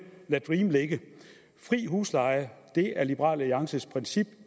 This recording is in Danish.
lad dream ligge fri husleje er liberal alliances princip